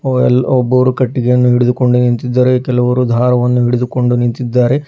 ಒಬ್ಬ ಯಲ್ ಒಬ್ಬರು ಕಟ್ಟಿಗೆಯನ್ನು ಹಿಡಿದುಕೊಂಡು ನಿಂತಿದ್ದಾರೆ ಕೆಲವರು ದಾರವನ್ನು ಹಿಡಿದುಕೊಂಡು ನಿಂತಿದ್ದಾರೆ.